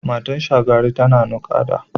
Matar Shagari tana naƙuda.